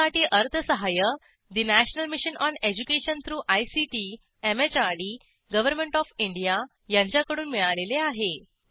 यासाठी अर्थसहाय्य national mission on education through ICT MHRD government of India यांच्याकडून मिळालेले आहे